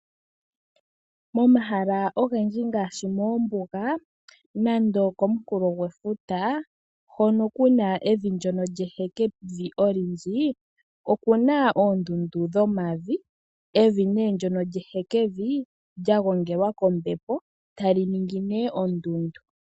Momahala pgendji ngaashi moombuga nande komunkulo gwefuta hono kuna evi ndono lyehevi olindji, okuna oondundu dhomavi, evi nee ndono lyehekevi lyagongelwa kombepo tali ningi nee ondungu.